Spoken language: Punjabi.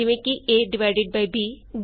aਬੀ ਡਿਵੀਜ਼ਨ ਡਿਵਿਜ਼ਨ ਈਜੀ